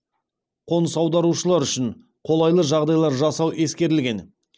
қоныс аударушылар үшін қолайлы жағдайлар жасау ескерілген